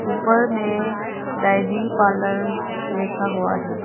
पर में dairy parlour लिखा हुआ है।